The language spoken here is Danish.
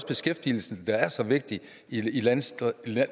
beskæftigelsen der er så vigtig i landdistrikterne